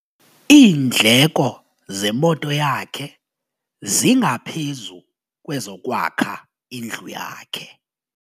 Iindleko zemoto yakhe zingaphezu kwezokwakha indlu yakhe.